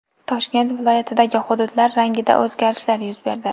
Toshkent viloyatidagi hududlar rangida o‘zgarishlar yuz berdi.